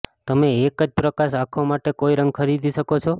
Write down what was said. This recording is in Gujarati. તમે એક જ પ્રકાશ આંખો માટે કોઇ રંગ ખરીદી શકો છો